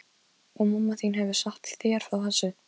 Og mamma þín hefur sagt þér frá þessu?